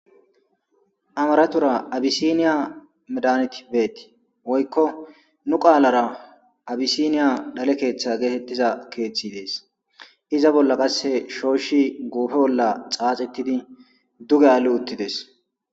amaraththora abisiniya medanti beti woykko nu qaalara abisiniya dhalle keeththa geetettiza keeththi dees iza bolla qasse shooshshi guufe bolla xaaxettidi duge aali uttidees